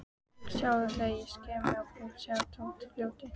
Sjáðu þegar ég sker mig á púls, sjáðu, Tóti ljóti.